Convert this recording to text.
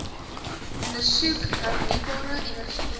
ondersoek hernieubare energiebronne